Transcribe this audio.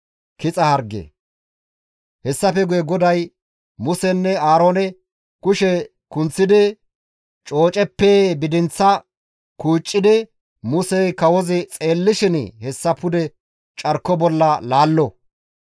Hessafe guye GODAY, Musenne Aaroone, «Kushe kunththidi cooceppe bidinththa kuucci ekkidi Musey kawozi xeellishin hessa pude carko bolla laallo;